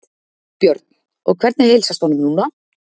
Björn: Og hvernig heilsast honum núna?